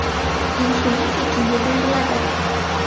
Insulin tekinga beriladi.